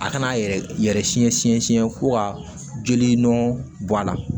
A kana a yɛrɛ yɛrɛ siɲɛ siɲɛ siɲɛ fo ka joli nɔn bɔ a la